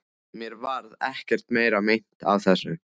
Mér varð ekkert meira meint af þessu.